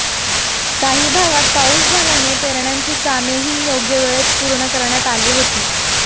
काही भागात पाऊस झाल्याने पेरण्यांची कामेही योग्यवेळेत पूर्ण करण्यात आली होती